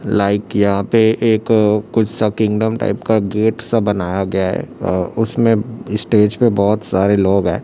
Like यहां पर एक कुछ सा किंगडम टाइप का गेट सा बनाया गया है। उसमें स्टेज पर बहुत सारे लोग हैं।